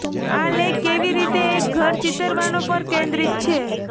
આ લેખ કેવી રીતે એક ઘર ચિતરવાનો પર કેન્દ્રિત છે